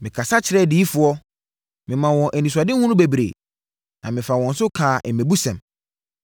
Mekasa kyerɛɛ adiyifoɔ, memaa wɔn anisoadehunu bebree na mefaa wɔn so kaa mmɛbusɛm.”